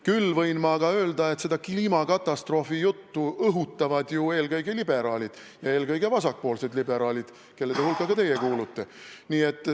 Küll võin ma aga öelda, et seda kliimakatastroofi juttu õhutavad ju eelkõige liberaalid ja eelkõige vasakpoolsed liberaalid, kelle hulka ka teie kuulute.